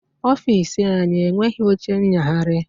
Ọfiisi anyị enweghi oche nyagharị